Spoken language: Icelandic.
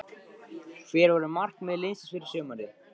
Hver voru markmið liðsins fyrir sumarið?